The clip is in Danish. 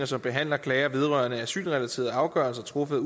som behandler klager vedrørende asylrelaterede afgørelser truffet